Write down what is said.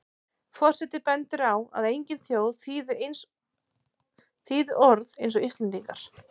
Forseti bendir á að engin þjóð þýði orð eins og Íslendingar.